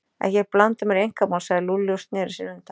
Ekki blanda mér í einkamál sagði Lúlli og sneri sér undan.